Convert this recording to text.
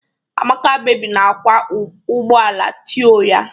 Amaka baby na-akwa ugbo ala tọị ya.